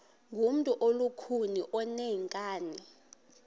ngumntu olukhuni oneenkani